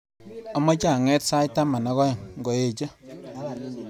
Amache anget sait taman ak aeng ngoeche